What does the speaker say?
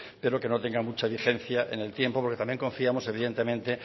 pero que no tenga mucha vigencia en el tiempo porque también confiamos evidentemente